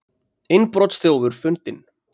Innbrotsþjófur fundinn